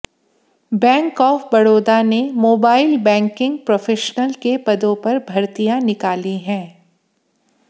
bank of Baroda ने mobile banking professional के पदों पर भर्तियां निकाली है